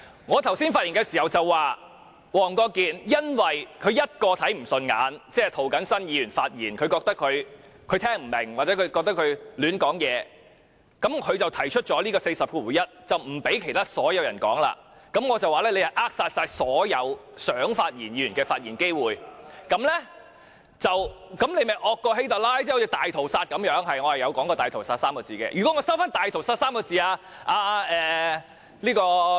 我剛才發言時說，黃國健議員因為看不順眼一個人，即涂謹申議員的發言，他聽不明白或覺得他胡說八道，於是引用《議事規則》第401條，不讓其他所有人發言，我便說他是扼殺了所有想發言議員的發言機會，這樣他便較希特拉更兇惡，好像大屠殺一樣，是的，我有說過"大屠殺 "3 個字。